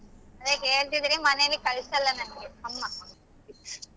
ಅದೆ ಕೇಳ್ತಿದೀರಿ ಮನೇಲಿ ಕಳಸಲ್ಲ ನನ್ಗೆ ಅಮ್ಮಾ.